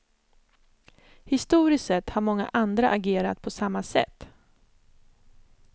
Historiskt sett har många andra agerat på samma sätt.